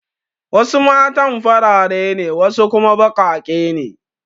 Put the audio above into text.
Wasu matan farare ne wasu kuma baƙaƙe ne.